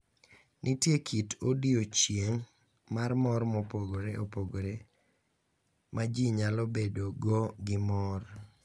Nitie kit odiochieng' mar mor mopogore opogore ma ji nyalo bedo go gi mor.